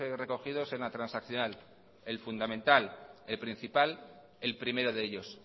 recogidos en la transaccional el fundamental el principal el primero de ellos